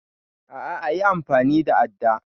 A'a yi amfani da adda